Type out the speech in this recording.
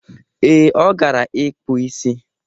Ee, ọ gara ịkpụ isi.